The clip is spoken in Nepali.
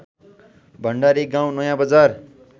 भण्डारी गाउँ नयाँबजार